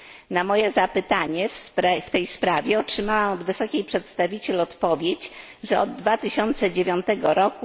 Na moje zapytanie w tej sprawie, otrzymałam od Wysokiej Przedstawiciel odpowiedź, że od 2009 r.